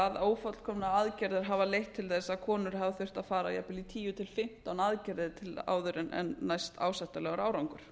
að ófullkomnar aðgerðir hafa leitt til þess að konur hafa þurft að fara í til dæmis tíu til fimmtán aðgerðir áður en næst ásættanlegur árangur